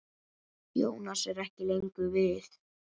Jónas er ekki lengur við.